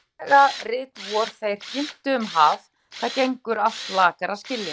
Og greiðlega rit vor þeir ginntu um haf- það gengur allt lakar að skilja.